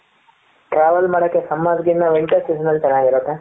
travel ಮಾಡಕ್ಕೆ summer ಕಿನ್ನ winter season ಅಲ್ಲಿ ಚೆನ್ನಾಗಿರುತ್ತೆ